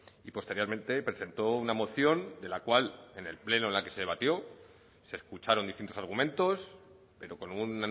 y posteriormente presentó una moción de la cual en el pleno en la que debatió se escucharon distintos argumentos pero con un